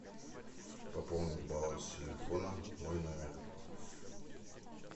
пополнить баланс телефона мой номер